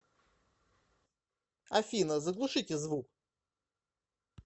афина заглушите звук